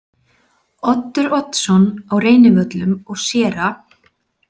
Oddur Oddsson á Reynivöllum og séra